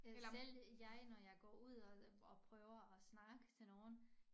Eller selv jeg når jeg går ud og og prøver at snakke til nogen